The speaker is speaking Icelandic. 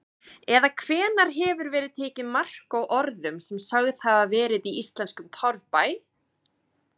Eða hvenær hefur verið tekið mark á orðum sem sögð hafa verið í íslenskum torfbæ?